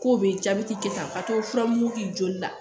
K'o be jabɛti kɛ tan ka to furamugu k'i joli la